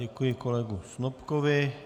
Děkuji kolegovi Snopkovi.